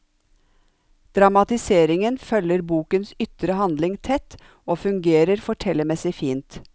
Dramatiseringen følger bokens ytre handling tett og fungerer fortellermessig fint.